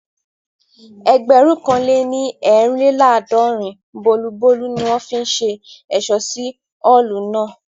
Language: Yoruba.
Ẹgbẹ̀rún kan lè ní eerinlelaadọrin bulobulo ni wọ́n fi ṣe ẹ̀ṣọ́ sí Ọ́ọ̀lù náà